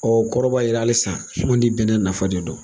o kɔrɔ b'a yira hali san an di bɛnnɛ nafa de don.